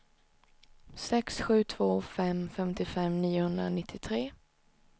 sex sju två fem femtiofem niohundranittiotre